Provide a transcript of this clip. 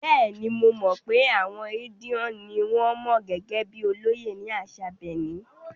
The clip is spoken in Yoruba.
Bẹ́ẹ̀ni, mo mọ̀ pé àwọn Edion ni wọn mọ̀ gẹ́gẹ́ bíi olóyè ní àṣà Benin.